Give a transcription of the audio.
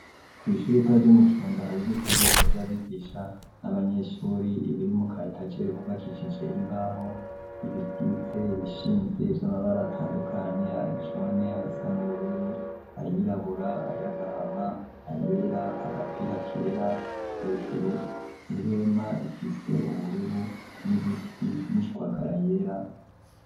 Kw'ishuri ritaryo umu kirondara ububiko rwitawo vy'abigisha n'abanyeshuri ibiri mukayitajere kubakicije imbaho ibikitse bishinze vy'amabari atandukanye ayoncone ayasana ubururu ayirabura ayagahama ayera agapira kera hejuru impwema rifise, ubu mururu n'ibiti n'ishwagara yera.